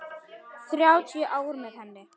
Þrjátíu ár með henni.